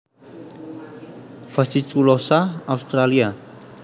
fasciculosa Australia